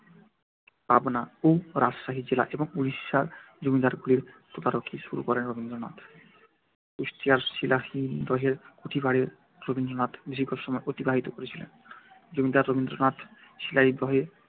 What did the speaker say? পাবনা ও রাজশাহী জেলা এবং উড়িষ্যার জমিদারিগুলির তদারকি শুরু করেন রবীন্দ্রনাথ। কুষ্টিয়ার শিলাইদহের কুঠিবাড়িতে রবীন্দ্রনাথ দীর্ঘ সময় অতিবাহিত করেছিলেন। জমিদার রবীন্দ্রনাথ শিলাইদহে